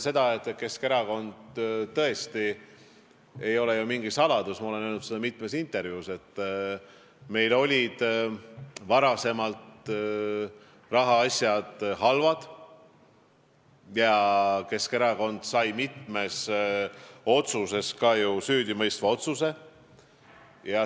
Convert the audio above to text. Ei ole ju mingi saladus, ma olen seda mitmes intervjuus öelnud, et meil olid varem rahaasjad halvad ja Keskerakond sai mitmes kohtuasjas ka ju süüdimõistva otsuse.